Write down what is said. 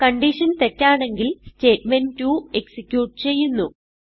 condition തെറ്റാണെങ്കിൽ statement two execute ചെയ്യുന്നു